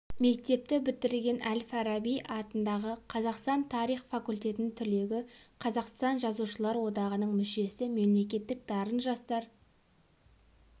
мектепті бітірген әл-фараби атындағы қаз тарих факультетінің түлегі қазақстан жазушылар одағының мүшесі мемлекеттік дарын жастар